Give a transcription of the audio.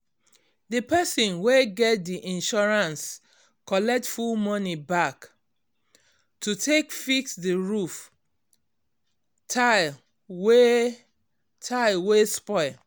um di person wey get di insurance collect full money back to take fix di roof tile wey tile wey spoil.